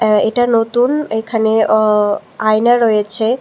আ এইটা নতুন এখানে অ আয়না রয়েছে।